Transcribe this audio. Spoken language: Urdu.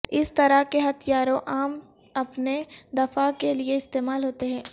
اس طرح کے ہتھیاروں عام اپنے دفاع کے لئے استعمال ہوتے ہیں